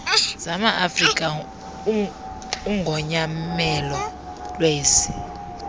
zamaafrika ugonyamelo lwezi